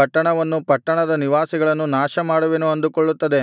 ಪಟ್ಟಣವನ್ನು ಪಟ್ಟಣದ ನಿವಾಸಿಗಳನ್ನು ನಾಶಮಾಡುವೆನು ಅಂದುಕೊಳ್ಳುತ್ತದೆ